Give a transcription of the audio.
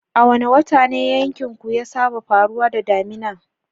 A wane wata ne yankinku ya saba faruwa da damina?